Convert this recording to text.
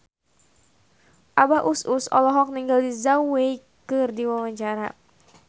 Abah Us Us olohok ningali Zhao Wei keur diwawancara